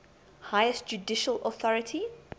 highest judicial authority